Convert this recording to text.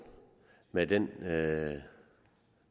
med den